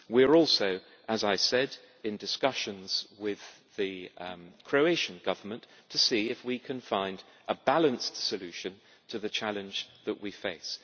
We are also, as I said, in discussions with the Croatian Government to see if we can find a balanced solution to the challenge that we face.